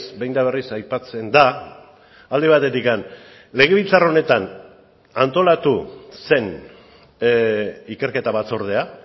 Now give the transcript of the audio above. behin eta berriz aipatzen da alde batetik legebiltzar honetan antolatu zen ikerketa batzordea